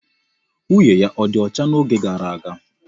Nwunye ya ọdi ọcha n'oge gara aga.